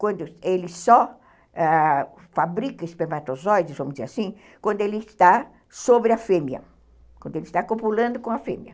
quando ele só ãh fabrica espermatozoides, vamos dizer assim, quando ele está sobre a fêmea, quando ele está copulando com a fêmea.